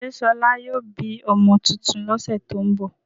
Ṣé Ṣọlá yóò bí ọmọ tuntun lọ́sẹ̀ tó ń bọ̀?